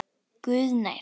Guð er nær.